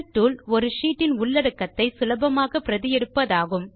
bill tool ஒரு ஷீட்டின் உள்ளடக்கத்தை சுலபமாக பிரதி எடுப்பதாகும்